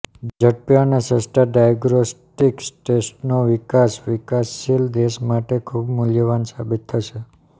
ઝડપી અને સસ્તા ડાયગ્નોસ્ટિક ટેસ્ટનો વિકાસ વિકાસશિલ દેશો માટે વધુ મૂલ્યવાન સાબિત થશે